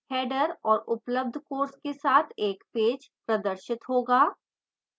header और उपलब्ध courses के साथ एक पेज प्रदर्शित होगा